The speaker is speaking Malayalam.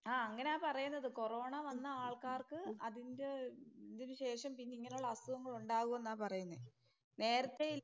ആ അങ്ങനാ പറയുന്നത് കൊറോണ വന്ന ആൾക്കാർക്ക് അതിന്റെ ഇതിനു ശേഷം പിന്നെ ഇങ്ങനെയുള്ള അസുഖങ്ങൾ ഒണ്ടാവും എന്നാ പറയുന്നേ. നേരത്തെ